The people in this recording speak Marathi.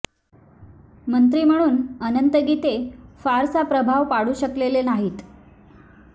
मंत्री म्हणून अनंत गीते फारसा प्रभाव पाडू शकलेले नाहीत